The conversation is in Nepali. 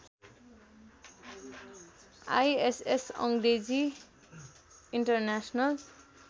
आईएसएस अङ्ग्रेजी इन्टर्नेसनल